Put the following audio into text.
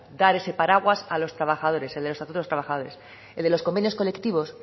dar ese paraguas a los trabajadores el estatuto de los trabajadores el de los convenios colectivos